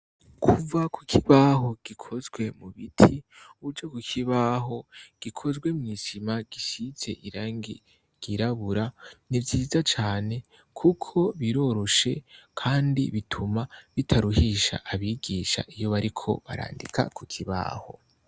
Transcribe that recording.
Kuva ku kibaho gikozwe mu biti uja ku kibaho gikozwe mw'isima gisize irangi ryirabura ni vyiza cane kuko biroroshe kandi bituma bitaruhisha abigisha iyo bariko barandika ku kibaho.